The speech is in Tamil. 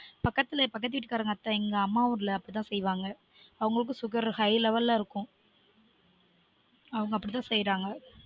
பக்கத்துல பக்கத்து வீட்டு காரங்க அத்த எங்க அம்மா ஊர்ல அப்டி தான் செய்வாங்க அவங்களுக்கும் sugarhigh level ல இருக்கும் அவங்க அப்டி தான் செய்ராங்க